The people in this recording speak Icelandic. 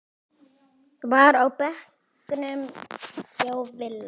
var á bekknum hjá Villa.